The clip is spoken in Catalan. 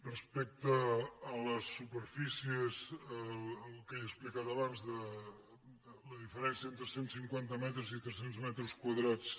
respecte a les superfícies el que he explicat abans de la diferència entre cent cinquanta metres i tres cents metres quadrats